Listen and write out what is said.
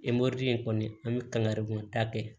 in kɔni an bɛ kangari da kɛ